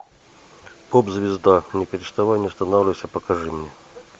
поп звезда не переставай не останавливайся покажи мне